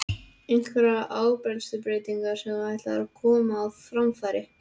Einhverjar áherslubreytingar sem þú ætlar að koma á framfæri?